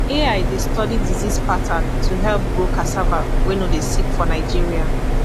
ai dey study disease pattern to help grow cassava wey no dey sick for nigeria